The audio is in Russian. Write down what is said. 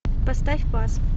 поставь пас